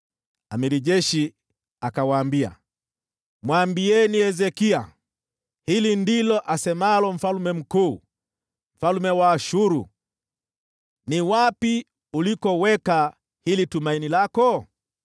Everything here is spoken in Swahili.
Jemadari wa jeshi akawaambia, “Mwambieni Hezekia, “ ‘Hili ndilo asemalo mfalme mkuu, mfalme wa Ashuru: Ni wapi unapoweka hili tumaini lako?